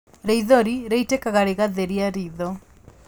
Rĩithori rĩitĩkaga rĩgatheria ritho